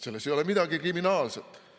Selles ei ole midagi kriminaalset.